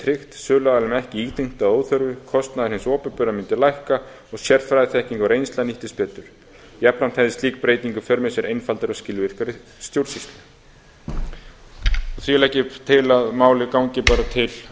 tryggt söluaðilum ekki íþyngt að óþörfu kostnaður hins opinbera mundi lækka og sérfræðiþekking og reynsla nýttist betur jafnframt hefði slík breyting í för með sér einfaldari og skilvirkari stjórnsýslu síðan legg ég til að málið gangi bara